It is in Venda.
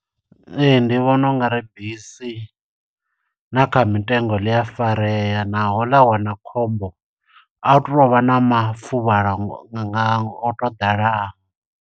Ee, ndi vhona ungari bisi na kha mitengo ḽi a farea, naho ḽa wana khombo, a hu tu to vha na mafuvhalo nga o to ḓala.